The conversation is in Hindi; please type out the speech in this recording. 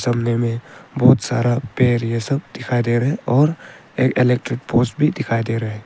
सामने मे बहोत सारा पेड़ ये सब दिखाई दे रहे और एक इलेक्ट्रिक पोल्स भी दिखाई दे रहे--